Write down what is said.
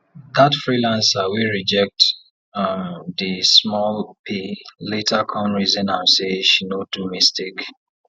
that freelancer wey reject the small pay later come reason am say she no do mistake